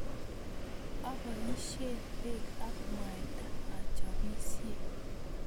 Aboisie pek ak mwaita achopisie